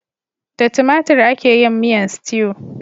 Da tomatir ake yin miyan stew.